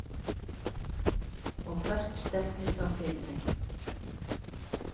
Og hvert stefnir þá fyrirtækið?